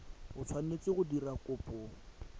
o tshwanetseng go dira kopo